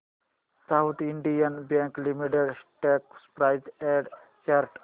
south Indian Bank Limited stock price and chart